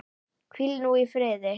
Hvíl þú nú í friði.